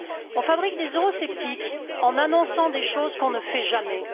On fabrique des eurosceptiques en annonçant des choses que l'on ne fait jamais.